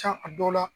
Ca a dɔw la